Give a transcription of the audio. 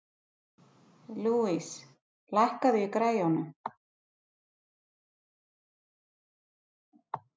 Louise, lækkaðu í græjunum.